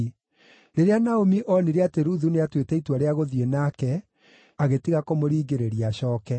Rĩrĩa Naomi onire atĩ Ruthu nĩatuĩte itua rĩa gũthiĩ nake, agĩtiga kũmũringĩrĩria acooke.